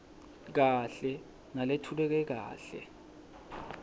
kahle naletfuleke kahle